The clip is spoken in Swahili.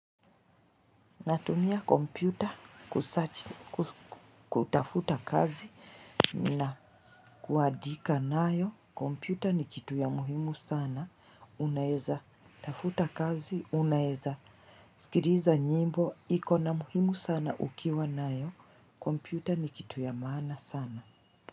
Natumia kompyuta, kutafuta kazi na kuandika nayo, kompyuta ni kitu ya muhimu sana, unaweza, tafuta kazi, unaweza, sikiliza nyimbo, ikona muhimu sana ukiwa nayo, kompyuta ni kitu ya maana sana.